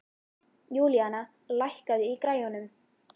Júlíana, lækkaðu í græjunum.